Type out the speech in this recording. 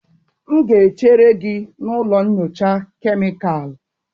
M ga-echere gị na ụlọ nyocha kemịkalụ.